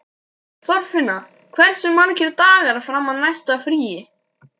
Þorfinna, hversu margir dagar fram að næsta fríi?